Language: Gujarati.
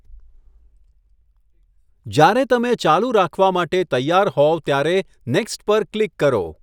જ્યારે તમે ચાલુ રાખવા માટે તૈયાર હોવ ત્યારે 'નેક્સ્ટ' પર ક્લિક કરો.